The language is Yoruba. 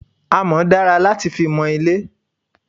Amọ́ dára láti fi mọ ilé.